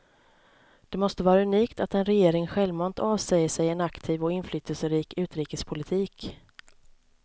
Det måste vara unikt att en regering självmant avsäger sig en aktiv och inflytelserik utrikespolitik.